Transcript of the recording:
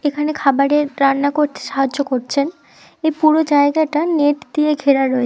এখানে খাবারের রান্না করছে সাহায্য করছেন এর পুরো জায়গাটা নেট দিয়ে ঘেরা রয়েছে।